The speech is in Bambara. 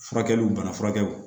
Furakɛliw bana furakɛ